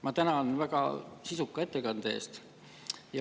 Ma tänan väga sisuka ettekande eest.